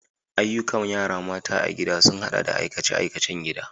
Ayyukan yara mata a gida sun haɗa da aikace-aikacen gida.